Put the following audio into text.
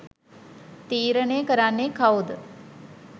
තීරණය කරන්නෙ කවුද.